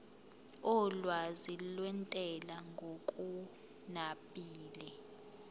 olwazi lwentela ngokunabile